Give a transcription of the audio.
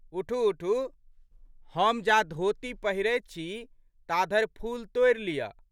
उठूउठू। हम जा धोती पहिरैत छी, ता धरि फूल तोड़ि लिअऽ।